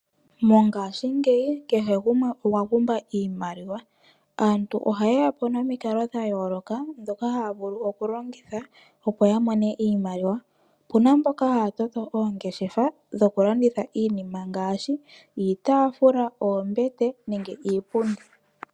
Mongaashingeyi kehe gumwe okwa pumbwa iimaliwa . Aantu oha ye yapo nomikalo dha yooloka ndhoka haya vulu oku longitha opo ya mone iimaliwa. Opuna mboka haya toto oongeshefa dhoku landitha iinima ngaashi iitaafula, oombete nenge iipundi.